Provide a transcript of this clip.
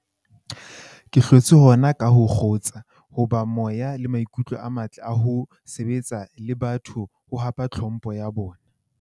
Ke hlotse hona ka ho kgutsa, ho ba le moya le maikutlo a matle a ho sebetsana le batho ho hapa tlhompho ya bona.